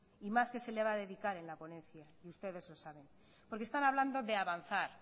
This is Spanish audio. y más que se le va a dedicar en la ponencia y ustedes lo saben porque están hablando de avanzar